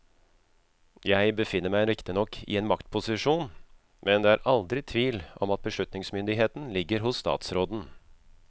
Jeg befinner meg riktignok i en maktposisjon, men det er aldri tvil om at beslutningsmyndigheten ligger hos statsråden.